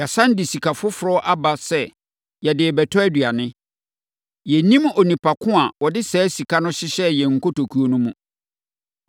Yɛasane de sika foforɔ aba sɛ yɛde rebɛtɔ aduane. Yɛnnim onipa ko a ɔde saa sika no hyehyɛɛ yɛn nkotokuo no mu.”